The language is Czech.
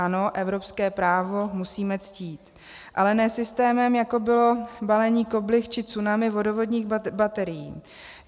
Ano, evropské právo musíme ctít, ale ne systémem, jako bylo balení koblih či tsunami vodovodních baterií.